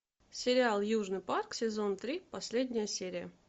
сериал южный парк сезон три последняя серия